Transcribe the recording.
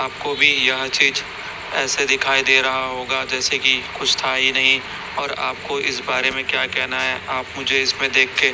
आपको भी यह चीज ऐसे दिखाई दे रहा होगा जैसे कि कुछ था ही नहीं और आपको इस बारे में क्या कहना है आप मुझे इसमें देख के--